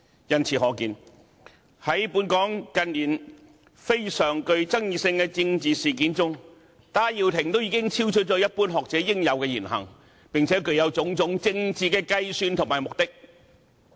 由此可見，在本港近年非常具爭議性的政治事件中，戴耀廷所作的已經超出一般學者應有的言行，並且具有種種政治計算和目的。